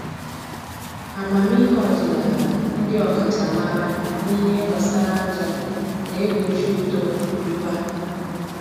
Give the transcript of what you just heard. Amamihe ọdịnaala ndị ọkachamara n'ihe gbasara aja na-egbochi uto mba